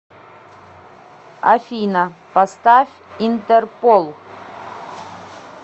афина поставь интерпол